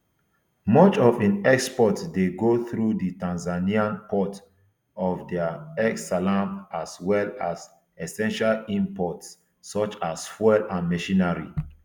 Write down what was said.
much of im exports dey go through di tanzanian port of dar es salaam as well as essential imports such as fuel and machinery